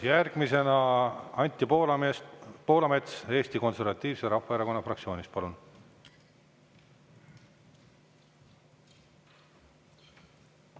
Järgmisena Anti Poolamets Eesti Konservatiivse Rahvaerakonna fraktsioonist, palun!